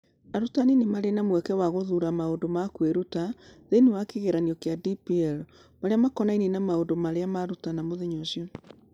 Arutani nĩ marĩ mweke wa gũthuura maũndũ ma kwĩruta thĩinĩ wa kĩgeranio kĩa DPL marĩa makonainie na maũndũ marĩa marutana mũthenya ũcio.